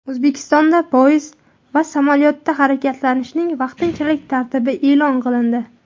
O‘zbekistonda poyezd va samolyotda harakatlanishning vaqtinchalik tartibi e’lon qilindi.